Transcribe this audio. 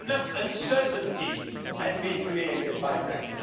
enough uncertainty has been created by Brexit.